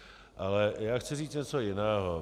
Ale já chci říct něco jiného.